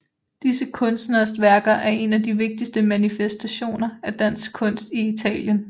Disse kunstneres værker er en af de vigtigste manifestationer af dansk kunst i Italien